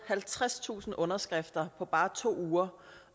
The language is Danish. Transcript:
halvtredstusind underskrifter på bare to uger